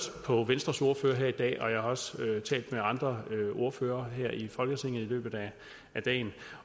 på venstres ordfører her i dag og jeg har også talt med andre ordførere her i folketinget i løbet af dagen